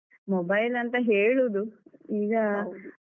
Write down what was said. Mobile ಅಂತ ಹೇಳುದು.